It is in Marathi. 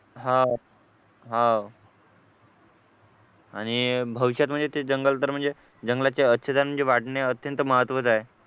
हा हा आह आणि भविष्यात म्हणजे ते जंगल तर म्हणजे जंगलाची आच्छादन म्हणजे वाढणे अत्यंत महत्त्वाचे आहे